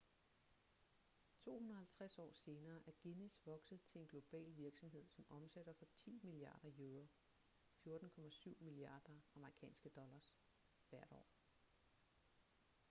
250 år senere er guinness vokset til en global virksomhed som omsætter for 10 milliarder euro 14,7 miliarder us$ hvert år